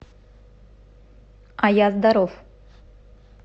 а я здоров